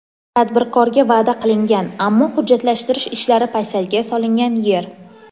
Tadbirkorga va’da qilingan, ammo hujjatlashtirish ishlari paysalga solingan yer.